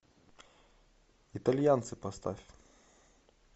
итальянцы поставь